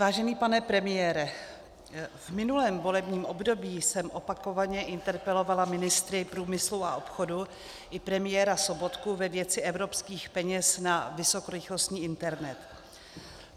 Vážený pane premiére, v minulém volebním období jsem opakovaně interpelovala ministry průmyslu a obchodu i premiéra Sobotku ve věci evropských peněz na vysokorychlostní internet.